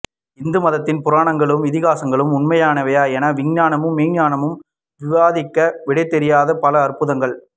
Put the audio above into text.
இந்து மதத்தின் புரணங்களும் இதிகாசங்களும் உண்மையானவையா என விஞ்ஞானமும் மெஞ்ஞானமும் விவாதிக்க விடைதெரியாத பல அற்புதங்கள்